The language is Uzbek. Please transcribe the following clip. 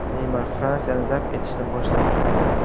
Neymar Fransiyani zabt etishni boshladi.